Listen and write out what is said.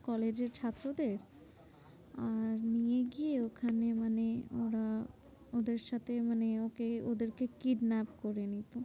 কলেজের ছাত্রদের আর নিয়ে গিয়ে ওখানে মানে ওরা ওদের সাথে মানে ওকে ওদেরকে kidnap করে নিতো।